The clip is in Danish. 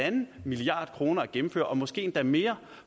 en milliard kroner at gennemføre og måske endda mere